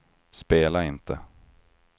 spela inte